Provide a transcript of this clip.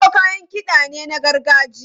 Molo kayan kiɗa ne na gargajiya.